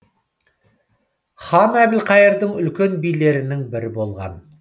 хан әбілқайырдың үлкен билерінің бірі болған